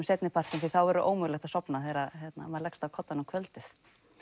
seinni partinn því þá verður ómögulegt að sofna þegar maður leggst á koddann um kvöldið